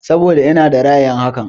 Saboda ina da ra'ayin haka.